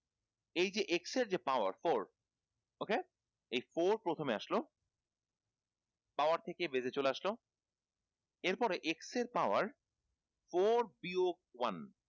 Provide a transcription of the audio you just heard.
এইযে x যে power four ok এই four প্রথমে আসলো power থেকে চলে আসলো এর পর x এর power four বিয়োগ one